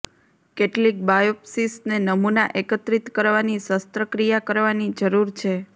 કેટલીક બાયોપ્સિસને નમૂના એકત્રિત કરવાની શસ્ત્રક્રિયા કરવાની જરૂર છે